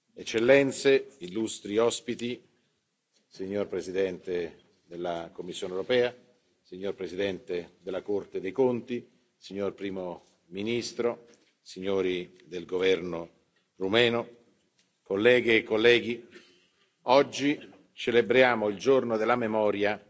Eccellenze, illustri ospiti, Signor Presidente della Commissione europea, Signor Presidente della Corte dei Conti, Signor Primo ministro, signori del governo romeno, colleghe e colleghi, oggi celebriamo il Giorno della Memoria